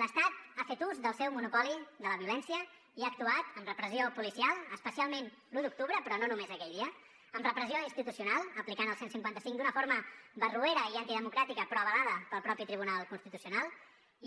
l’estat ha fet ús del seu monopoli de la violència i ha actuat amb repressió policial especialment l’u d’octubre però no només aquell dia amb repressió institucional aplicant el cent i cinquanta cinc d’una forma barroera i antidemocràtica però avalada pel mateix tribunal constitucional